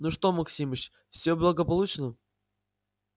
ну что максимыч всё благополучно